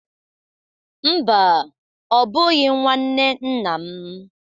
Mba, ọ bụghị nwanne nna m.